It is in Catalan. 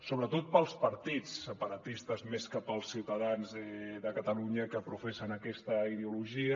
sobretot pels partits separatistes més que pels ciutadans de catalunya que professen aquesta ideologia